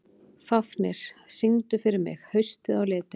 Fáfnir, syngdu fyrir mig „Haustið á liti“.